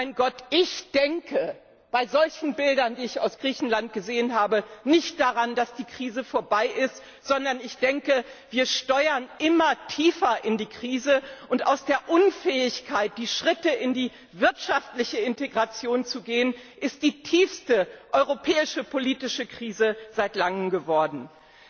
Mein Gott, ich denke bei solchen Bildern, die ich aus Griechenland gesehen habe, nicht daran, dass die Krise vorbei ist, sondern ich denke, dass wir immer tiefer in die Krise steuern und aus der Unfähigkeit, die Schritte in die wirtschaftliche Integration zu gehen, die tiefste europäische politische Krise seit langem entstanden